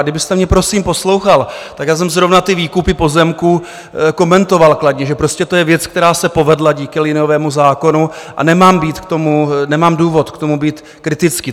A kdybyste mě prosím poslouchal, tak já jsem zrovna ty výkupy pozemků komentoval kladně, že prostě to je věc, která se povedla díky liniovému zákonu a nemám důvod k tomu být kritický.